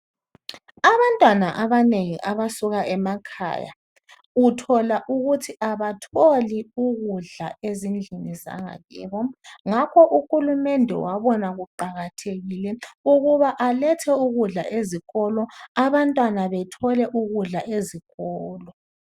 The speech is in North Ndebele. Abantwana abanengi abasuka emakhaya uthola ukuthi abatholi ukudla ezindlini zangakibo. Ngakho uhulumende wabona kuqakathekile ukuba alethe ukudla ezikolo, abantwana bethole ukudla ezikolo.